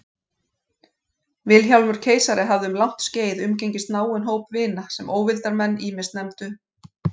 Vilhjálmur keisari hafði um langt skeið umgengist náinn hóp vina, sem óvildarmenn ýmist nefndu